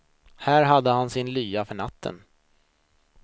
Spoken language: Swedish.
Här hade han sin lya för natten.